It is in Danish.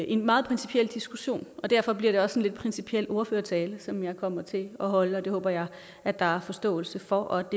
en meget principiel diskussion og derfor bliver det også lidt principiel ordførertale som jeg kommer til at holde og det håber jeg at der er forståelse for og